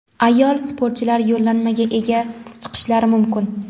ayol sportchilar yo‘llanmaga ega chiqishlari mumkin.